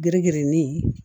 Geren gɛrɛnin